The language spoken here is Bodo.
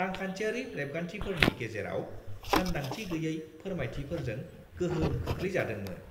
रांखान्थियारि रेबगान्थिफोरनि गेजेराव सानदांथि गैयै फोरमायथिफोरजों गोहोम खोख्लैजादोंमोन।